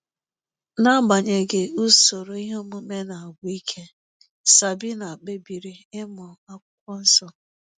N'agbanyeghị usoro ihe omume na-agwụ ike, Sabina kpebiri ịmụ akwukwo nsọ.